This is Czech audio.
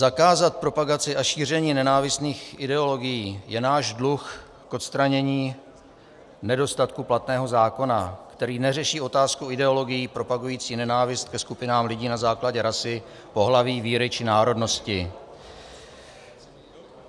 Zakázat propagaci a šíření nenávistných ideologií je náš dluh k odstranění nedostatků platného zákona, který neřeší otázku ideologií propagujících nenávist ke skupinám lidí na základě rasy, pohlaví, víry či národnosti.